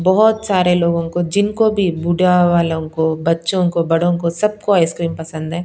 बहुत सारे लोगों को जिनको भी बुढा वालों को बच्चों को बड़ों को सबको आईसक्रीम पसंद है।